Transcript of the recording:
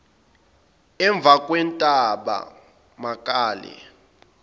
emvakwentabemakale